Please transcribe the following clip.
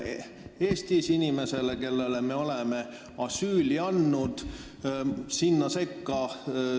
Kui palju me kulutame inimesele, kellele me oleme asüüli andnud?